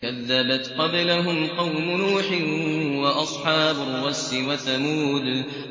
كَذَّبَتْ قَبْلَهُمْ قَوْمُ نُوحٍ وَأَصْحَابُ الرَّسِّ وَثَمُودُ